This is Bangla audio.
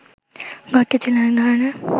ঘরটি ছিল এক ধরনের